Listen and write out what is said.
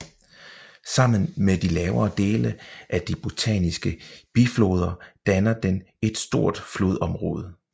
Sammen med de lavere dele af de bosniske bifloder danner den et stort flodområde